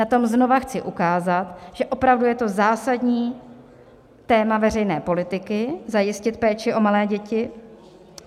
Na tom znova chci ukázat, že opravdu je to zásadní téma veřejné politiky - zajistit péči o malé děti.